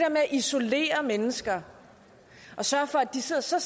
isolere mennesker og sørge for at de sidder så